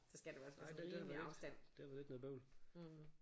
Nej det er da lidt det er da lidt noget bøvl